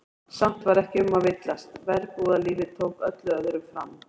Samt var ekki um að villast, verbúðalífið tók öllu öðru fram.